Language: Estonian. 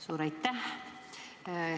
Suur aitäh!